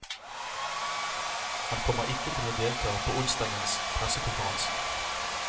Han kommer ikke til å delta på onsdagens pressekonferanse.